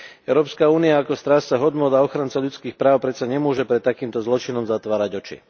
Európska únia ako strážca hodnôt a ochranca ľudských práv predsa nemôže pred takýmto zločinom zatvárať oči.